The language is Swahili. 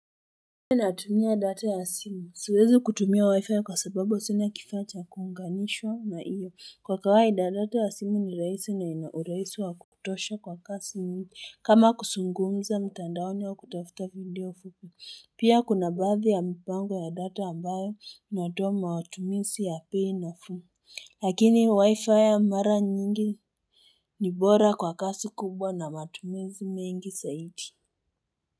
Na tumia data ya simu siwezi kutumia wi-fi kwa sababu sina kifaa cha kuunganishwa na iyo kwa kawaida data ya simu ni raisi na inauraisi wa kutosha kwa kasi ni kama kusungumza mtandaoni wa kutafuta video fuku Pia kuna baadhi ya mpango ya data ambayo inatoa matumizi ya bei nafuu Lakini wi-fi ya mara nyingi ni bora kwa kasi kubwa na matumizi mengi saidi.